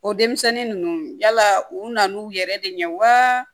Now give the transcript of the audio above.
O denmisɛnnin ninnu yala u nan'u yɛrɛ de ɲɛ wa